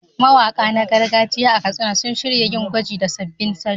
Mawaka na gargajiya a Katsina sun shirya yin gwaji da sabbin salo.